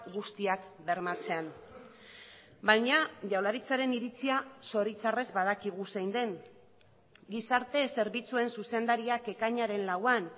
guztiak bermatzen baina jaurlaritzaren iritzia zoritxarrez badakigu zein den gizarte zerbitzuen zuzendariak ekainaren lauan